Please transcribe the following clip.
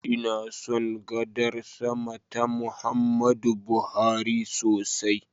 Ina son gadar sama ta Muhammadu Buhari sosai.